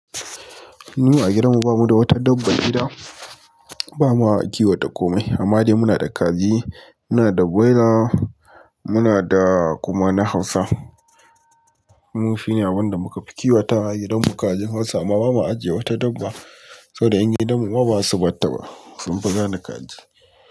Mu a gidan mu ba mu da wata dabban gida bama kiwata komai amma dai muna da kaji muna da nuwailas muna da kuma na hausa abun nufi abunda muka fi kiwata a gidan mu kajin Hausa amma bama ajiye wata dabba. Saboda 'yan gidan mu ma ba zasu barta ba sun fi gane kaji.